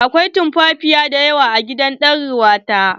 Akwai tumfafiya dayawa a gidan er uwa ta.